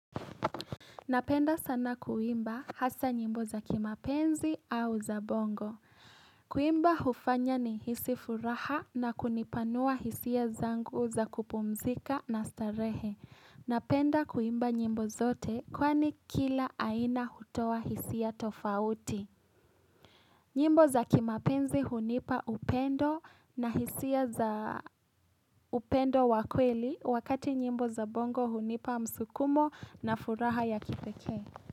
Napenda sana kuimba hasa nyimbo za kimapenzi au za bongo. Kuimba hufanya ni hisi furaha na kunipanua hisia zangu za kupumzika na starehe. Napenda kuimba nyimbo zote kwani kila aina hutoa hisia tofauti. Nyimbo za kimapenzi hunipa upendo na hisia za upendo wa kweli wakati nyimbo za bongo hunipa msukumo na furaha ya kipekee.